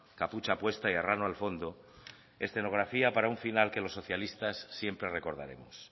capucha puesta y arrano al fondo escenografía para un final que los socialistas siempre recordaremos